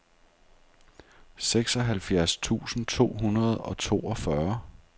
seksoghalvfjerds tusind to hundrede og toogfyrre